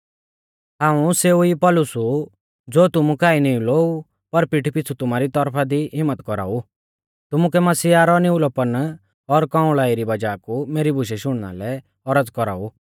हाऊं सेऊ ई पौलुस ऊ ज़ो तुमु काऐ निउलौ ऊ पर पीठी पिछ़ु तुमारी तौरफा दी हिम्मत कौराउ तुमुकै मसीहा रौ निउलौपन और कौंअल़ाई री वज़ाह कु मेरी बुशै शुणना लै औरज़ कौराऊ